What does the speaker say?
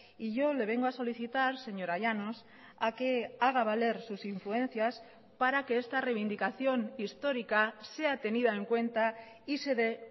y yo le vengo a solicitar señora llanos a que haga valer sus influencias para que esta reivindicación histórica sea tenida en cuenta y se dé